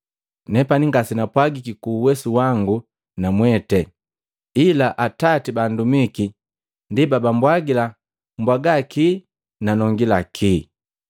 Nepani ngase napwagiki ku uwesu wangu na mwete, ila Atati ba andumiki ndi babambwagila mbwaga kii na nongila kii.